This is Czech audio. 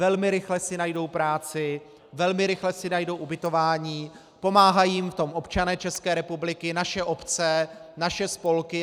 Velmi rychle si najdou práci, velmi rychle si najdou ubytování, pomáhají jim v tom občané České republiky, naše obce, naše spolky.